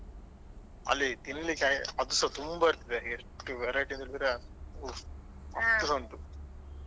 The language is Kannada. ಹಾ ಅಲ್ಲಿ ತಿನ್ಲಿಕ್ಕೆ ಅದುಸ ತುಂಬಾ ಇರ್ತದೆ ಅಂದ್ರೆ ಎಷ್ಟು verity ಅಂದ್ರೆ ಹೋ ಅಷ್ಟುಸ ಉಂಟು.